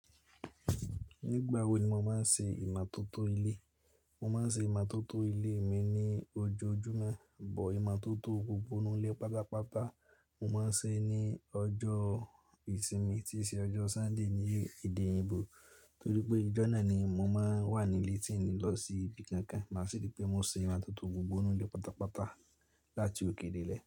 Nígbà wo ni mo máa ń ṣe ìmátótó ilé? Mo máa ń ṣe ìmátótó ilé mi ní ojoojúmọ́, bọ̀ ìmátótó gbogbo inú ilé pátápátá, mo máa ń ṣe ní ọjọ́ ìsinmi tí í ṣe ọjọ́ Sunday ní èdè eyinbò. Nítorí pé ọjọ́ náà ni mo máa ń wà nílé tí ń ní lọ sí ibi kankan. Máa sì rí pé mo ṣe ìmátótó gbogbo inú ilé pátápátá láti òkè dé ilẹ̀.